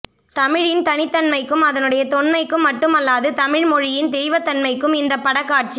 தமிழின் தனித்தன்மைக்கும் அதனுடைய தொன்மைக்கும் மட்டுமல்லாது தமிழ்மொழியின் தெய்வத்தன்மைக்கும் இந்தப் படக்காட்சி